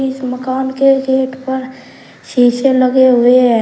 इस मकान के गेट पर शीशे लगे हुए हैं।